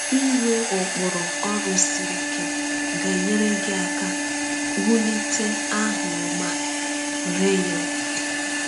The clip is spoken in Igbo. Inwe ụkpụrụ ọrụ siri ike ga-enyere gị aka wulitekwa aha ọma.” – Reyon.